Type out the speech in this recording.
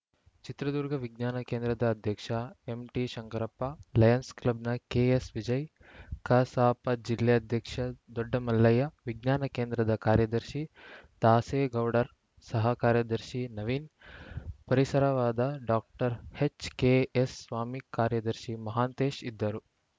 ಚಿತ್ರದುರ್ಗ ವಿಜ್ಞಾನ ಕೇಂದ್ರದ ಅಧ್ಯಕ್ಷ ಎಂಟಿ ಶಂಕರಪ್ಪ ಲಯನ್ಸ್‌ ಕ್ಲಬ್‌ನ ಕೆಎಸ್‌ವಿಜಯ್‌ ಕಸಾಪ ಜಿಲ್ಲಾಧ್ಯಕ್ಷ ದೊಡ್ಡಮಲ್ಲಯ್ಯ ವಿಜ್ಞಾನ ಕೇಂದ್ರದ ಕಾರ್ಯದರ್ಶಿ ದಾಸೇಗೌಡರ್‌ ಸಹ ಕಾರ್ಯದರ್ಶಿ ನವೀನ್‌ ಪರಿಸರವಾದ ಡಾಕ್ಟರ್ ಎಚ್‌ಕೆಎಸ್‌ಸ್ವಾಮಿ ಕಾರ್ಯದರ್ಶಿ ಮಹಾಂತೇಶ್‌ ಇದ್ದರು